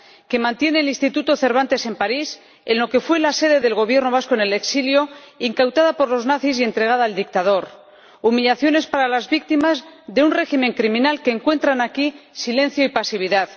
que mantiene el Instituto Cervantes en París en lo que fue la sede del Gobierno vasco en el exilio, incautada por los nazis y entregada al dictador humillaciones para las víctimas de un régimen criminal que encuentran aquí silencio y pasividad.